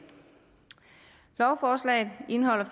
lovforslaget indeholder